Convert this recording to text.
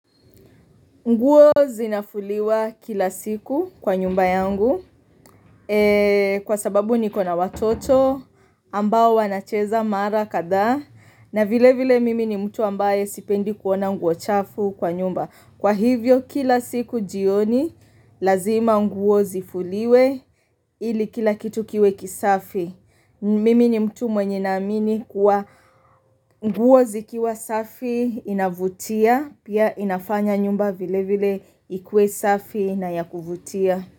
Nguo zinafuliwa kila siku kwa nyumba yangu kwa sababu nikona watoto ambao wanacheza mara kadhaa na vile vile mimi ni mtu ambaye sipendi kuona nguo chafu kwa nyumba. Kwa hivyo kila siku jioni, lazima nguo zifuliwe ili kila kitu kiwe kisafi. Mimi ni mtu mwenye naamini kuwa nguo zikiwa safi inavutia, pia inafanya nyumba vile vile ikuwe safi na yakuvutia.